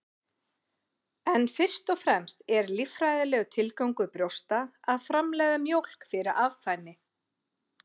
En fyrst og fremst er líffræðilegur tilgangur brjósta að framleiða mjólk fyrir afkvæmi.